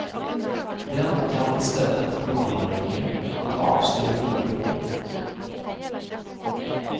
Den kan i stället råda regeringen att avstyrka brobygget.